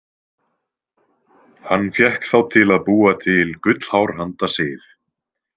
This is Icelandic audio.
Hann fékk þá til að búa til gullhár handa Sif.